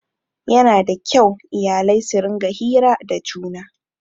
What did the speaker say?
Yana da kyau iyalai su rinƙa hira da juna